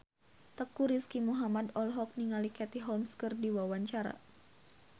Teuku Rizky Muhammad olohok ningali Katie Holmes keur diwawancara